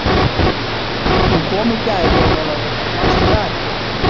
Hún kom í gær Jón Ólafur, mannstu það ekki?